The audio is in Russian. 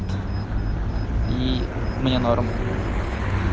и мне норм